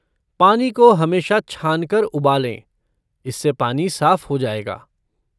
पानी को हमेशा छानकर उबालें, इससे पानी साफ़ हो जाएगा।